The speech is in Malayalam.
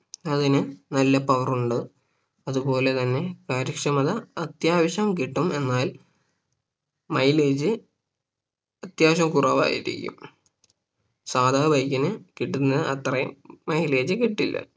അതിന് നല്ല Power ഉണ്ട് അതുപോലെ തന്നെ കാര്യക്ഷമത അത്യാവശ്യം കിട്ടും എന്നാൽ Mileage അത്യാവശ്യം കുറവായിരിക്കും സാധാ Bike ന് കിട്ടുന്ന അത്രയും Mileage കിട്ടില്ല